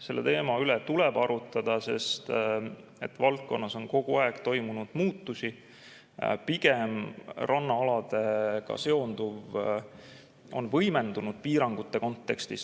Selle teema üle tuleb arutada, sest valdkonnas on kogu aeg toimunud muutusi, pigem on rannaaladega seonduv piirangute kontekstis võimendunud.